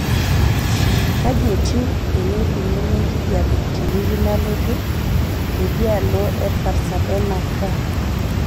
kaji etiu eneikununo enkijiape tewiki nalotu teidialo e pasadena ca